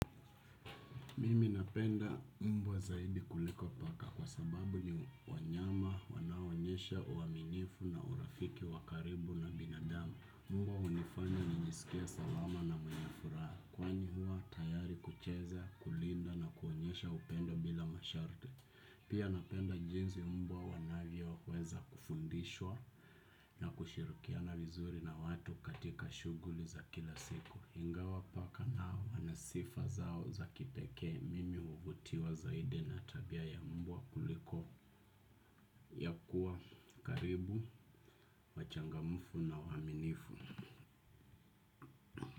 Mimi napenda mbwa zaidi kuliko paka kwa sababu ni wanyama, wanaoonyesha, uaminifu na urafiki wa karibu na binadamu. Mbwa hunifanya nijisikie salama na mwenye furaha. Kwani huwa tayari kucheza, kulinda na kuonyesha upendo bila masharti. Pia napenda jinsi mbwa wanavyoweza kufundishwa na kushirikiana vizuri na watu katika shughuli za kila siku. Ingawa paka nao wana sifa zao za kipekee mimi huvutiwa zaidi na tabia ya mbwa kuliko ya kuwa karibu wachangamfu na waaminifu.